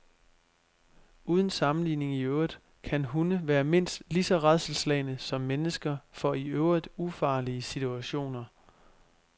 Uden sammenligning i øvrigt kan hunde være mindst lige så rædselsslagne som mennesker for i øvrigt ufarlige situationer.